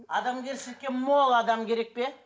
адамгершілікке мол адам керек пе